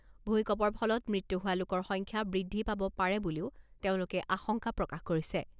ভূঁইকপৰ ফলত মৃত্যু হোৱা লোকৰ সংখ্যা বৃদ্ধি পাব পাৰে বুলিও তেওঁলোকে আশংকা প্ৰকাশ কৰিছে।